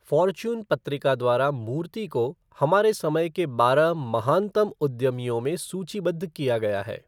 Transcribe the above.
Fortune पत्रिका द्वारा मूर्ति को हमारे समय के बारह महानतम उद्यमियों में सूचीबद्ध किया गया है।